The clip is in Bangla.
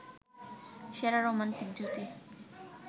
সেরা রোমান্টিক জুটি